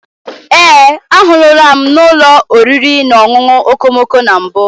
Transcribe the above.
Ee, ahụrụla m n'ụlọ oriri na ọṅụṅụ okomoko na mbụ.